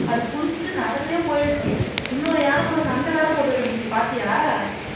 அது குளிச்சிட்டு நடந்தே போயிருச்சு இன்னொரு யானை கூட சண்டை வேற போட்டுட்டு இருந்துச்சு பார்த்தியா